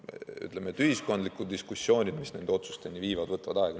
Ütleme, et ühiskondlikud diskussioonid, mis nende otsusteni viivad, võtavad aega.